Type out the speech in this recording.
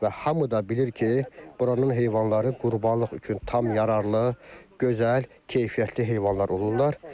Və hamı da bilir ki, buranın heyvanları qurbanlıq üçün tam yararlı, gözəl, keyfiyyətli heyvanlar olurlar.